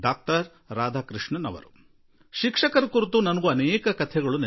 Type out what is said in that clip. ನಾನು ಆಗಾಗ ಯೋಚಿಸುವೆ ನನ್ನ ಶಿಕ್ಷಕರ ಬಹಳಷ್ಟು ಕಥೆಗಳು ನನಗೆ ಇನ್ನೂ ನೆನಪಿವೆ